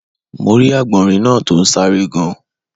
Mo rí Àgbọ̀nrín náa to n sáré gan